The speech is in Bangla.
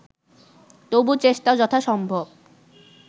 তবু চেষ্টা যথাসম্ভব